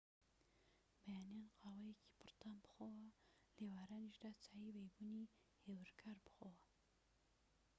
بەیانیان قاوەیەکی پڕ تام بخۆوە و لە ئێوارانیشدا چای بەیبونی هێورکار بخۆوە